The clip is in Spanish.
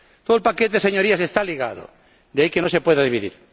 Todo el paquete, señorías, está ligado, de ahí que no se pueda dividir.